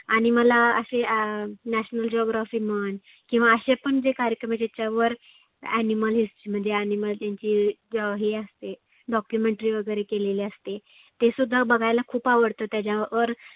आणि मला असे अं National Geography म्हण किंवा असे पण जे कार्यक्रम ज्याच्यावर Animal history म्हणजे Animal त्यांची हे असते Documentry वगैरे केलेली असते. ते सुद्धा बघायला खुप आवडतं त्याच्यावर